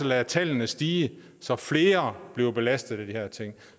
lade tallene stige så flere bliver belastet af de her ting